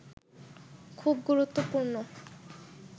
খুব গুরুত্বপূর্ণ